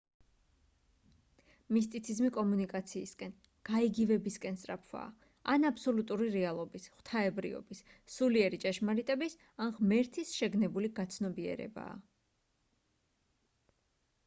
მისტიციზმი კომუნიკაციისკენ გაიგივებისკენ სწრაფვაა ან აბსოლუტური რეალობის ღვთაებრიობის სულიერი ჭეშმარიტების ან ღმერთის შეგნებული გაცნობიერებაა